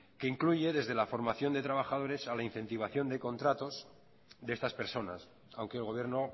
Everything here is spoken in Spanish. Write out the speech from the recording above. que incluye desde la formación de trabajadores a la incentivación de contratos de estas personas aunque el gobierno